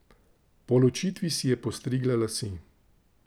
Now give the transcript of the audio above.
Po ločitvi si je postrigla lase.